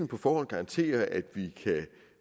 på forhånd garantere at